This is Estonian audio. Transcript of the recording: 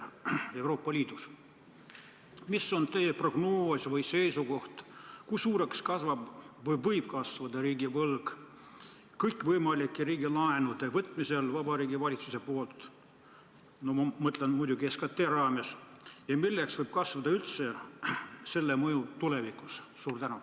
Milline on teie prognoos või seisukoht selle kohta, kui suureks kasvab või võib kasvada riigivõlg, kui Vabariigi Valitsus võtab kõikvõimalikke riigilaene – ma mõtlen muidugi SKT raames –, ja milliseks võib kujuneda selle mõju tulevikus?